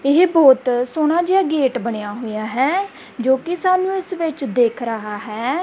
ਇਹ ਬਹੁਤ ਸੋਹਣਾ ਜਿਹਾ ਗੇਟ ਬਣਿਆ ਹੋਇਆ ਹੈ ਜੋ ਕਿ ਸਾਨੂੰ ਇਸ ਵਿੱਚ ਦਿੱਖ ਰਿਹਾ ਹੈ।